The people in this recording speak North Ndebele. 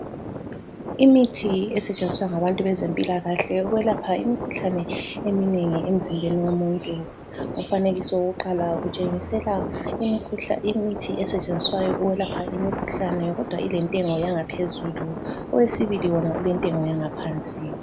Imithi esetshenziswa ngabantu bezempilakahle ukwelapha imikhuhlane eminengi emzimbeni womuntu. Umfanekiso wokuqala utshengisela imithi esetshenziswayo ukwelapha imikhuhlane kodwa ilentengo yangaphezulu owesibili wona ulentengo yangaphansi.